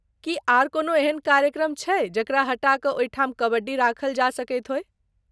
की आर कोनो एहन कार्यक्रम छै जकरा हटा कऽ ओहि ठाम कबड्डी राखल जा सकैत होय ?